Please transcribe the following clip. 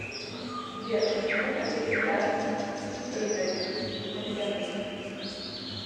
сбер почему то перестали призодить уведомления